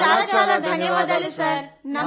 చాలా చాలా ధన్యవాదాలు థాంక్యూ సార్